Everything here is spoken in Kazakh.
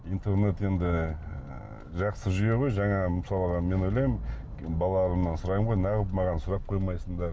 интернет енді ы жақсы жүйе ғой жаңағы мысалға мен ойлаймын балаларымнан сұраймын ғой неғып маған сұрақ қоймайсыңдар